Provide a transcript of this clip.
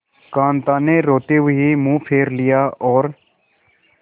कांता ने रोते हुए मुंह फेर लिया और